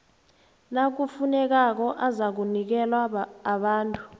nakufunekako azakunikelwa abantu